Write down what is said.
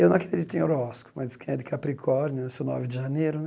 Eu não acredito em horóscopo, mas quem é de Capricórnio eu sou nove de janeiro, né?